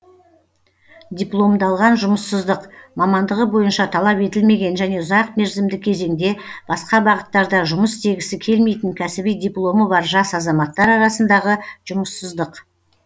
дипломдалған жұмыссыздық мамандығы бойынша талап етілмеген және ұзақ мерзімді кезеңде басқа бағыттарда жұмыс істегісі келмейтін кәсіби дипломы бар жас азаматтар арасындағы жұмыссыздық